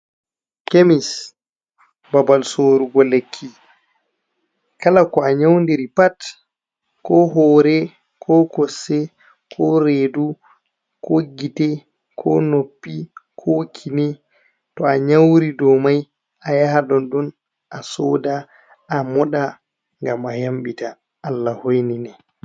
Kemis babal sorugo lekki, kala ko a nyaundi ri pat ko hore, ko kosɗe, ko redu, ko gitte, ko noppi, ko kine, to a nyauri ɗo mai a yaha ɗon ɗon a soda, a moɗa ngam a yamɓita Allah hoi nine.